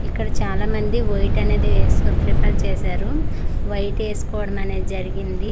ఇక్కడ చాలా మంది వైట్ అనేది స్ ప్రిఫర్ చేశారు వైట్ ఏసుకోవడం అనే జరిగింది.